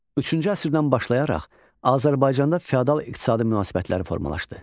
Üçüncü əsrdən başlayaraq Azərbaycanda fiodal iqtisadi münasibətlər formalaşdı.